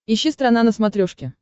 ищи страна на смотрешке